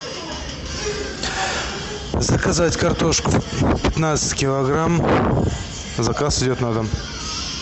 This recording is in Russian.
заказать картошку пятнадцать килограмм заказ идет на дом